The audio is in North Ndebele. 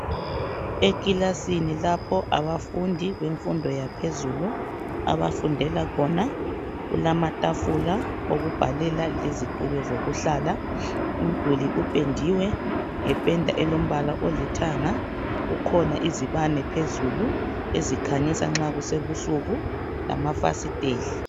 Ekilasini lapho abafundi bemfundo yaphezulu abafundela khona, kulamatafula okubhalela lezitulo zokuhlala ,umduli upendiwe ngependa elombala olithanga kukhona izibane phezulu ezikhanyisa nxa kusebusuku lamafasiteli.